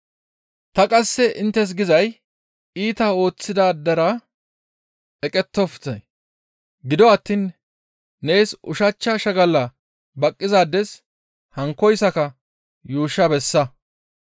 Ta qasse inttes gizay iita ooththidaadera eqettofte; gido attiin nees ushachcha shagala baqqizaades hankkoyssaka yuushsha bessa.